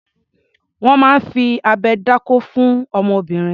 Wọ́n máa ń fi abẹ dákó fún ọmọbìnrin.